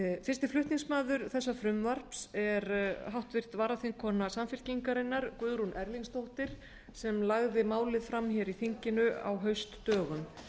fyrsti flutningsmaður þessa frumvarps er háttvirtur varaþingkona samfylkingarinnar guðrún erlingsdóttir sem lagði málið fram hér í þinginu á haustdögum